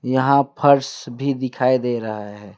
यहां फर्श भी दिखाई दे रहा है।